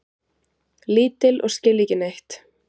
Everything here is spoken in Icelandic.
Lítil og skilja ekki neitt.